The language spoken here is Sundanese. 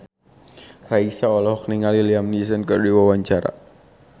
Raisa olohok ningali Liam Neeson keur diwawancara